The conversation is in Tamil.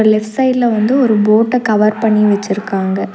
லெஃப்ட் சைடுல வந்து ஒரு போட்ட கவர் பண்ணி வச்சுருக்காங்க.